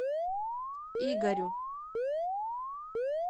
игорю